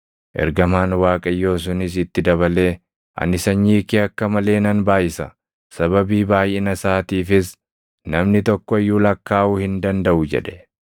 Ergamaan Waaqayyoo sunis itti dabalee, “Ani sanyii kee akka malee nan baayʼisa; sababii baayʼina isaatiifis namni tokko iyyuu lakkaaʼuu hin dandaʼu” jedhe.